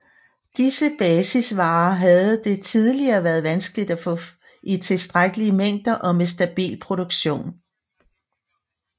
Disse basisvarer havde det tidligere været vanskeligt at få i tilstrækkelige mængder og med stabil produktion